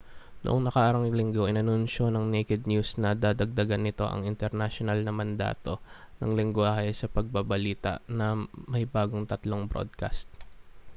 noong nakaraang linggo inanunsiyo ng naked news na dadagdagan nito ang internasyonal na mandato ng lenggwahe sa pagbabalita na may bagong tatlong broadcast